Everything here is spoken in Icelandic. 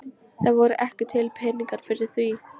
Það voru ekki til peningar fyrir því.